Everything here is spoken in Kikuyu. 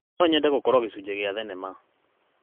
No nyende gũkorwo gĩcunjĩ kĩa thenema.